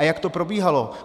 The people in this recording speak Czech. A jak to probíhalo?